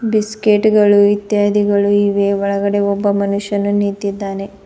ಬಿಸ್ಕೆಟ್ಗಳು ಇತ್ಯಾದಿಗಳು ಇವೆ ಒಳಗಡೆ ಒಬ್ಬ ಮನುಷ್ಯನು ನಿಂತಿದ್ದಾನೆ.